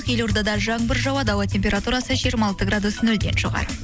елордада жаңбыр жауады ауа температурасы жиырма алты градус нөлден жоғары